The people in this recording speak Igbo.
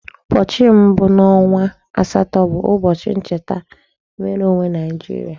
ụbọchị mbu n'onwa asato bụ ụbọchị ncheta nwereonwe Nigeria.